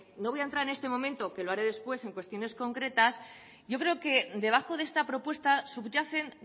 no voy a entrar en este momento lo haré después en cuestiones concretas yo creo que debajo de esta propuesta subyacen